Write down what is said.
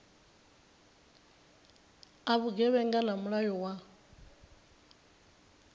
a vhugevhenga na mulayo wa